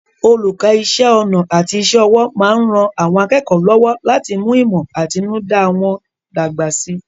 Olùkọ́ Iṣẹ́ ọnà àti iṣẹ́ ọwọ́ máa ń ran àwọn akẹ́kọ̀ọ́ lọ́wọ́ láti mú ìmọ̀ àtinúdá wọn dàgbà síi